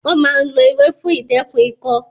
Wọ́n máa ń lo ewé fún ìdẹ́kun ikọ́